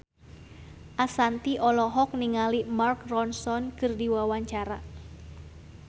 Ashanti olohok ningali Mark Ronson keur diwawancara